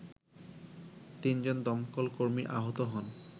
তিনজন দমকলকর্মী আহত হন